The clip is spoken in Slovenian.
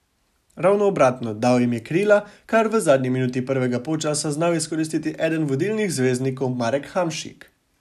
Ravno obratno, dal jim je krila, kar je v zadnji minuti prvega polčasa znal izkoristiti eden vodilnih zvezdnikov Marek Hamšik.